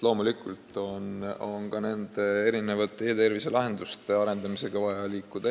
Loomulikult on ka e-tervise lahenduste arendamisega vaja edasi liikuda.